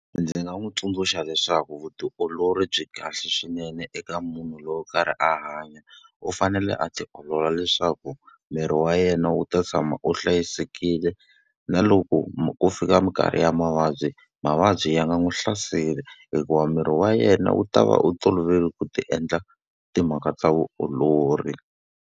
Ndzi nga n'wi tsundzuxa leswaku vutiolori byi kahle swinene eka munhu loyi a karhi a hanya. U fanele a ti olola leswaku miri wa yena wu ta tshama wu hlayisekile. Na loko ku fika minkarhi ya mavabyi, mavabyi ya nga n'wi hlaseli hikuva miri wa yena wu ta va u tolovele ku ti endla timhaka ta vutiolori.